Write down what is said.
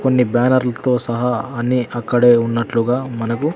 కొన్ని బ్యానర్లతో సహా అన్ని అక్కడే ఉన్నట్లుగా మనకు--